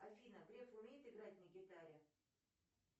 афина греф умеет играть на гитаре